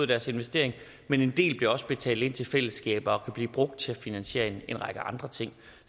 deres investering men en del bliver også betalt ind til fællesskabet og kan blive brugt til at finansiere en række andre ting